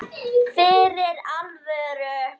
Fyrir alvöru.